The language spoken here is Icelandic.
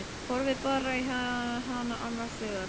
Horfði bara á hana annars hugar.